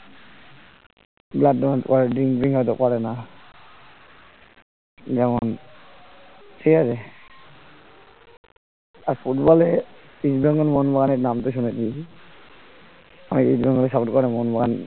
blood donate করে drink ট্রিঙ্ক হয়তো করেনা যেমন ঠিক আছে আর ফুটবলে এ east bengal মোহনবাগানের নাম তো শুনেছিসি অনেকে east bengal এর support করে মোহনবাগান